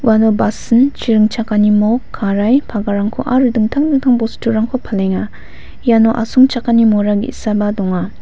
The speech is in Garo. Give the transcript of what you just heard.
uano basing chi ringchakani mok karai cover-rangko aro dingtang bosturangko palenga iano asongchakani mora ge·saba donga.